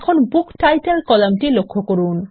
এখন বুকটাইটেল কলামটি লক্ষ্য করুন